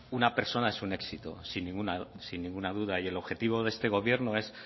una persona es un éxito sin ninguna duda y el objetivo de este gobierno es